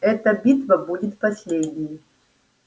эта битва будет последней